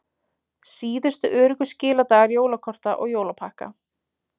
Síðustu öruggu skiladagar jólakorta og jólapakka